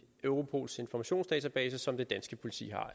europols informationsdatabase som det danske politi